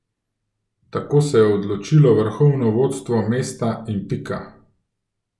Tako se je odločilo vrhovno vodstvo mesta in pika.